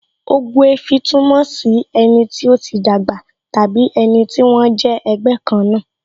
Ogbuefi túmọ̀ sí ẹni tí ó ti dàgbà tàbí ẹni tí wón jẹ́ ẹgbẹ́ kan náà